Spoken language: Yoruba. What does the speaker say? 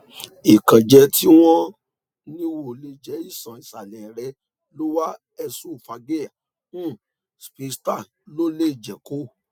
ni ronu o nilo awọn antidepressant diẹ ti yoo ṣe iranlọwọ lati bori iṣoro naa